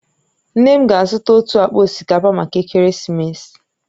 Nne m ga-azụta otu akpa osikapa maka ekeresimesi